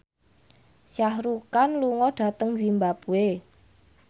Shah Rukh Khan lunga dhateng zimbabwe